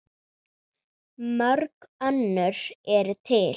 Mörg önnur eru til.